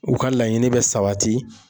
U ka laɲini bɛ sabati